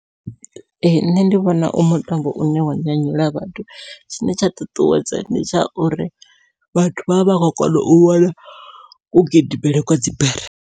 Ee nṋe ndi vhona u mutambo une wa nyanyula vhathu, tshine tsha ṱuṱuwedza ndi tsha uri vhathu vha vha vha khou kona u vhona ku gidimele kwa dzibere.